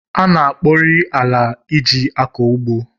A na-akpọrị ala e ji akọ ugbo